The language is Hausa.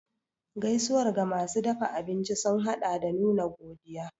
Gaisuwar ga masu dafa abinci sun haɗa da nuna godiya.